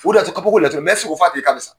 U de y'a to kapoko latig u f'a tigi k'a be sa?